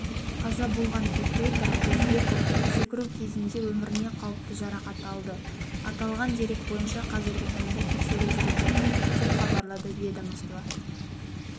қаза болған ефрейтор өзбеков секіру кезінде өміріне қауіпті жарақат алды аталған дерек бойынша қазіргі таңда тексеру жүріп жатыр деп хабарлады ведомствода